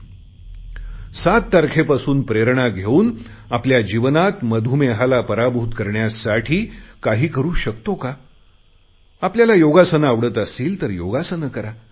7 तारखेपासून प्रेरणा घेऊन आपल्या जीवनात मधुमेहाला पराभूत करण्यासाठी काही करु शकतो का आपल्याला योगासने आवडत असतील तर योगासने करा